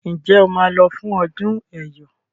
Njé o má ló fún ọdún eyọ?